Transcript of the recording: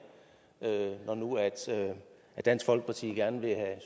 når nu dansk folkeparti gerne vil have